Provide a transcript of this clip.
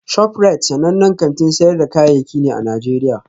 ShopRite sanannen kantin sayar da kayayyaki ne a Najeriya